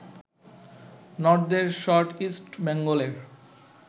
নর্দের shot East বেঙ্গলের